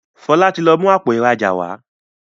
Fola tí lọ mú Àpò ìrajà wá.